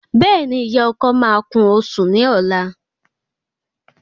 Béèni ìyá ọkọ máa kún osùn ní ọlá